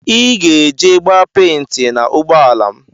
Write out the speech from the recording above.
Iga ege gba penti na ụgbọala m.